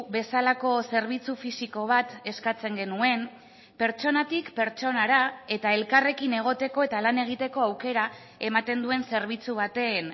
bezalako zerbitzu fisiko bat eskatzen genuen pertsonatik pertsonara eta elkarrekin egoteko eta lan egiteko aukera ematen duen zerbitzu baten